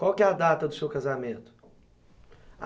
Qual que é a data do seu casamento?